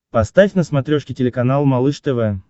поставь на смотрешке телеканал малыш тв